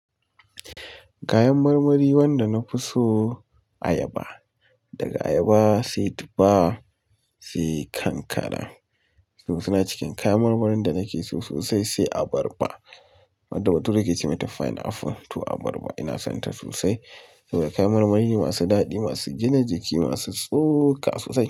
Kayan marmari wanda na fi so. Ayaba, daga ayaba sai tufa sai kankana. To suna cikin kayan marmarin da nake so sosai sai abarba. Wanda bature yake ce mai ta fine apple to abarba ina son ta sosai. Saboda kayan marmari masu daɗi, masu gina jiki, masu tsoka sosai.